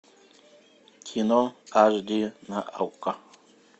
кино аш ди на окко